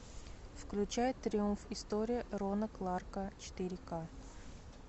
включай триумф история рона кларка четыре ка